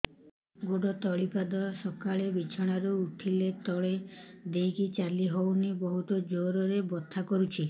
ଗୋଡ ତଳି ପାଦ ସକାଳେ ବିଛଣା ରୁ ଉଠିଲେ ତଳେ ଦେଇକି ଚାଲିହଉନି ବହୁତ ଜୋର ରେ ବଥା କରୁଛି